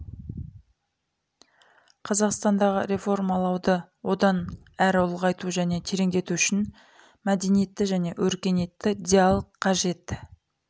қазақстандағы реформалауды одан әрі ұлғайту және тереңдету үшін мәдениетті және өркениетті диалог қажет